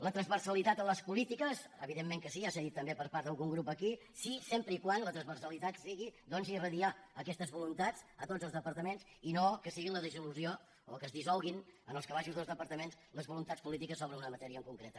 la transversalitat en les polítiques evidentment que sí ja s’ha dit per part d’algun grup aquí sí sempre que la transversalitat sigui doncs irradiar aquestes voluntats a tots els departaments i no que sigui la dissolució o que es dissolguin en els calaixos dels departaments les voluntats polítiques sobre una matèria en concret